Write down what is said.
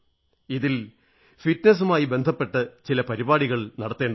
ഇതിൽ ഫിറ്റ്നസുമായി ബന്ധപ്പെട്ട് പല പരിപാടികളും നടത്തേണ്ടതുണ്ട്